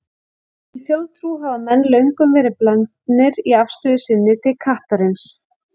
Í þjóðtrú hafa menn löngum verið blendnir í afstöðu sinni til kattarins.